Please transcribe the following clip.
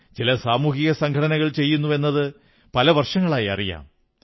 ചില സാമൂഹിക സംഘടനകൾ ചെയ്യുന്നുവെന്നത് പല വർഷങ്ങളായി അറിയാം